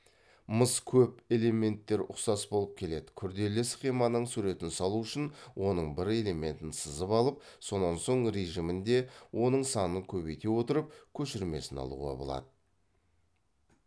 мыс көп элементтер ұқсас болып келеді күрделі схеманың суретін салу үшін оның бір элементін сызып алып сонан соң режимінде оның санын көбейте отырып көшірмесін алуға болады